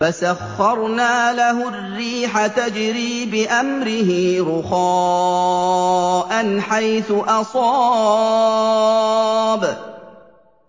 فَسَخَّرْنَا لَهُ الرِّيحَ تَجْرِي بِأَمْرِهِ رُخَاءً حَيْثُ أَصَابَ